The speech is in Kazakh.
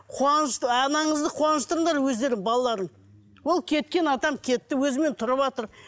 қуанышты анаңызды өздерің балаларың ол кеткен адам кетті өзімен тұрватыр